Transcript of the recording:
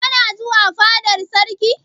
Kana zuwa fadar sarki?